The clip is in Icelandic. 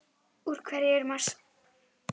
Úr hverju er Mars?